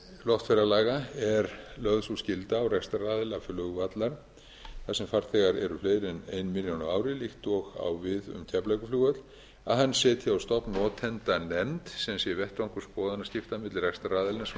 loftferðalaga er lögð sú skylda á rekstraraðila flugvalla þar sem farþegar eru fleiri en ein milljón á ári líkt og á við um keflavíkurflugvöll að hann setji á stofn notendanefnd sem sé vettvangur skoðanaskipta milli rekstraraðilans og